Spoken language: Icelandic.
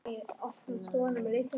Og svo töluðum við saman allt kvöldið.